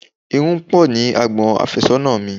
Irun pọ ní àgbon afésónà mi.